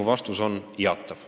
Mu vastus on jaatav.